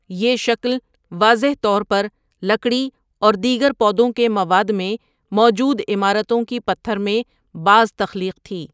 یہ شکل واضح طور پر لکڑی اور دیگر پودوں کے مواد میں موجود عمارتوں کی پتھر میں باز تخلیق تھی۔